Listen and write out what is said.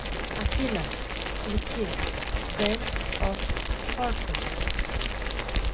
афина включи бэнд оф хорсес